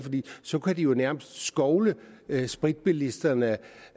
så kan de jo nærmest skovle spritbilisterne